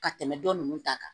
Ka tɛmɛ dɔ nunnu ta kan